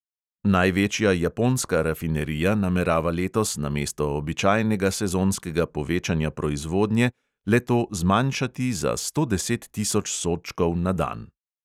Največja japonska rafinerija namerava letos namesto običajnega sezonskega povečanja proizvodnje le-to zmanjšati za sto deset tisoč sodčkov na dan.